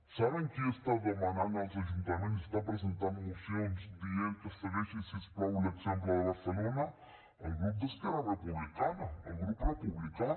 saben qui està demanant als ajuntaments està presentant mocions dient que segueixin si us plau l’exemple de barcelona el grup d’esquerra republicana el grup republicà